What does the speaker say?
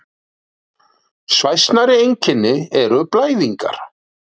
Svæsnari einkenni eru blæðingar.